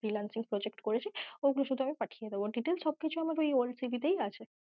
freelancing project করেছি ওগুলো শুধু পাঠিয়ে দেব, details সব কিছু আমার ওই old CV তেই আছে।